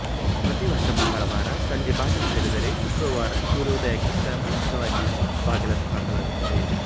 ಪ್ರತಿ ವರ್ಷ ಮಂಗಳವಾರ ಸಂಜೆ ಬಾಗಿಲು ತೆರೆದರೆ ಶುಕ್ರವಾರ ಸೂರ್ಯೋದಯಕ್ಕಿಂತ ಮುಂಚಿತವಾಗಿ ಬಾಗಿಲನ್ನು ಹಾಕಲಾಗುತ್ತದೆ